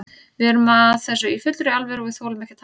Við erum að þessu í fullri alvöru og við þolum ekki að tapa.